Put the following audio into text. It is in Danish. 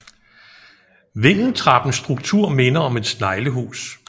Vindeltrappens struktur minder om et sneglehus